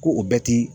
Ko o bɛɛ ti